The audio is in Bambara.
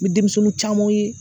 N bɛ denmisɛnninw camanw ye